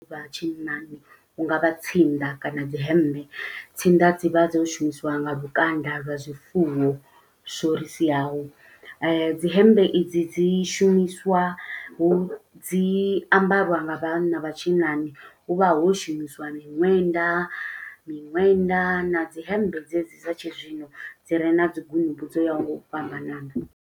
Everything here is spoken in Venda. Vha tshinnani hungavha tsinda kana dzi hembe. Tsinda dzi vha dzo shumisiwa nga lukanda lwa zwifuwom, zwo ri siaho. Dzi hembe i dzi dzi shumiswa hu, dzi ambariwa nga vhanna vhatshinnani hu vha ho shumisiwa miṅwenda. Miṅwenda na dzi hemmbe dze dzi dza tshizwino, dzi re na dzi gunubu dzo yaho nga u fhambanana.